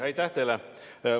Aitäh teile!